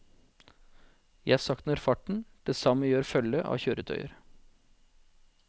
Jeg saktner farten, det samme gjør følget av kjøretøyer.